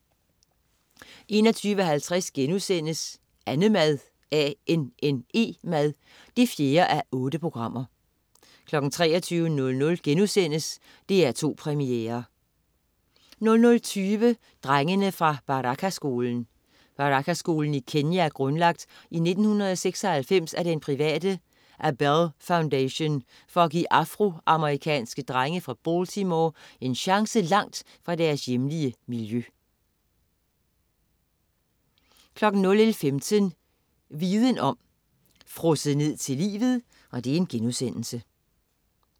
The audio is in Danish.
21.50 Annemad 4:8* 23.00 DR2 Premiere* 00.20 Drengene fra Baraka-skolen. Baraka-skolen i Kenya er grundlagt i 1996 af den private Abell Foundation for at give afro-amerikanske drenge fra Baltimore en chance langt fra deres hjemlige miljø 01.15 Viden om. Frosset ned til livet*